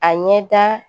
A ɲɛ da